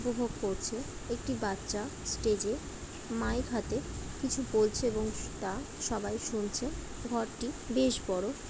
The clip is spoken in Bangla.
উপভোগ করছে একটি বাচ্চা স্টেজে মাইক হাতে কিছু বলছে এবং স-তা সবাই শুনছে এবং ঘরটি বেশ বড়ো ।